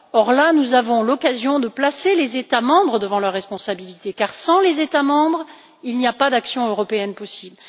Or là, nous avons l'occasion de placer les États membres devant leurs responsabilités, car sans eux il n'y a pas d'action européenne possible.